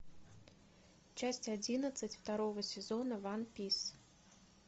часть одиннадцать второго сезона ванпис